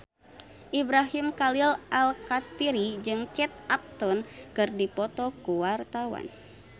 Ibrahim Khalil Alkatiri jeung Kate Upton keur dipoto ku wartawan